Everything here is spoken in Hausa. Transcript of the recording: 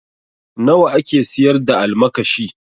Nawa ake siyar da almakashi?